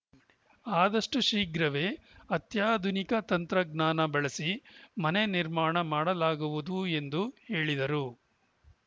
ಆದಷ್ಟುಶೀಘ್ರವೇ ಅತ್ಯಾಧುನಿಕ ತಂತ್ರಜ್ಞಾನ ಬಳಸಿ ಮನೆ ನಿರ್ಮಾಣ ಮಾಡಲಾಗುವುದು ಎಂದು ಹೇಳಿದರು